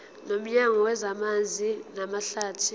nomnyango wezamanzi namahlathi